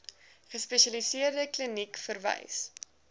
gespesialiseerde kliniek verwys